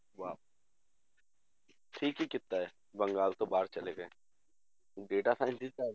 ਵਾਹ ਠੀਕ ਹੀ ਕੀਤਾ ਹੈ, ਬੰਗਾਲ ਤੋਂ ਬਾਹਰ ਚਲੇ ਗਏ data science ਦੀ ਤਾਂ